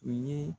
U ye